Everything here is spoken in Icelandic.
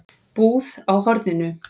Búð á horninu?